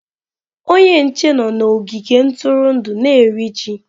Onye nche nọ n'ogige ntụrụndụ na-eri ji.